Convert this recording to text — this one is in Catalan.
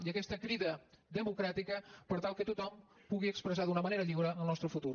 i aquesta crida democràtica per tal que tothom pugui expressar d’una manera lliure el nostre futur